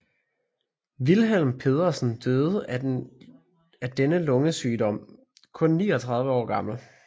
Wilhelm Pedersen døde af denne lungesygdom kun 39 år gammel